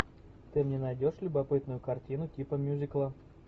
ты мне найдешь любопытную картину типа мюзикла